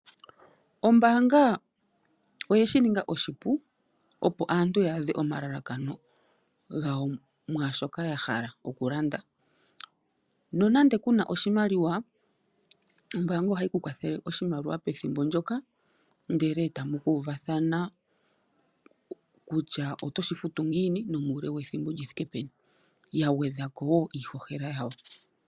Ombaanga oyeshi ninga oshipu opo aantu yaadhe omalalakano gawo mwaashoka ya hala okulanda . Nonando kuna oshimaliwa ombaanga ohayi kukwathele oshimaliwa pethimbo ndyoka ndele etamu uvathana kutya oto shi futu ngiini, nuule wethimbo lini, niiholela ya gwedhwapo.